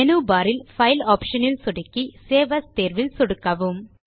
menu bar இல் file option இல் சொடுக்கி சேவ் ஏஎஸ் தேர்விலும் சொடுக்கவும்